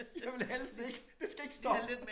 Jeg vil helst ikke det skal ikke stoppe